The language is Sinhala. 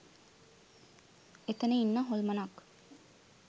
එතන ඉන්න හොල්මනක්